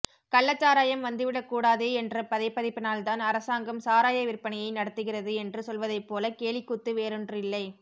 கள்ளச்சாராயம் வந்துவிடக்கூடாதே என்ற பதைபதைப்பினால்தான் அரசாங்கம் சாராயவிற்பனையை நடத்துகிறது என்று சொல்வதைப்போல கேலிக்கூத்து வேறொன்றில்லை